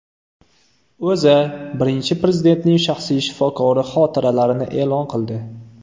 O‘zA Birinchi Prezidentning shaxsiy shifokori xotiralarini e’lon qildi.